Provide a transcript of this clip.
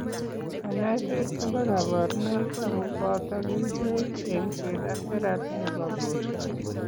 Kanyoiseet kobo kaborunoik ako booto kercheek, eng'seet ak teraphy nebo borto